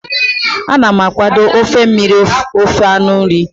Ana m akwado ofe mmiri ose anụ ewu.